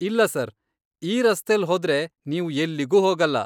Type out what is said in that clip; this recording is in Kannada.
ಇಲ್ಲ ಸರ್. ಈ ರಸ್ತೆಲ್ ಹೋದ್ರೆ ನೀವು ಎಲ್ಲಿಗೂ ಹೋಗಲ್ಲ.